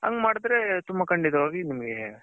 ಹಂಗೇ ಮಾಡದ್ರೆ ತುಂಬಾ ಕಂಡಿತವಾಗಿ ನಿಮ್ಮಗೆ .